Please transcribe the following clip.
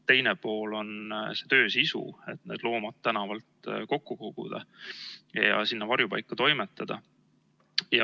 Teine pool on see töö sisu, et need loomad tänavalt kokku koguda ja sinna varjupaika toimetada.